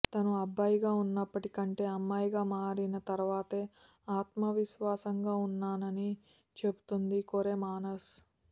తాను అబ్బాయిగా ఉన్నప్పటి కంటే అమ్మాయిగా మారిన తర్వాతనే ఆత్మ విశ్వాసంగా ఉన్నానని చెబుతోంది కొరె మాసన్